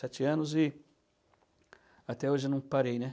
Sete anos e até hoje não parei, né?